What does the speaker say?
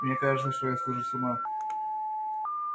мне кажется что я схожу с ума